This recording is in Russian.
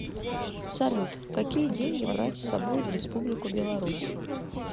салют какие деньги брать с собой в республику беларусь